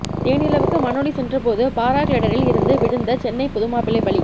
தேனிலவுக்கு மனாலி சென்றபோது பாராகிளைடரில் இருந்து விழுந்த சென்னை புதுமாப்பிள்ளை பலி